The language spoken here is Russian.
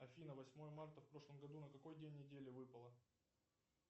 афина восьмое марта в прошлом году на какой день недели выпало